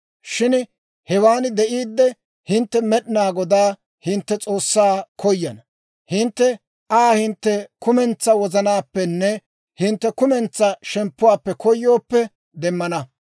Shin hewan de'iidde, hintte Med'inaa Godaa, hintte S'oossaa koyana; hintte Aa hintte kumentsaa wozanaappenne hintte kumentsaa shemppuwaappe koyooppe demmana.